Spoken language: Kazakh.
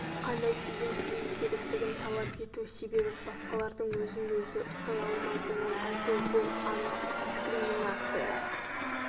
қандай киім кию керектігін талап ету себебі басқалардың өзін-өзі ұстай алмайтынын айту бұл анық дискриминация